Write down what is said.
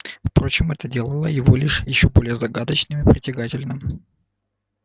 впрочем это делало его лишь ещё более загадочным и притягательным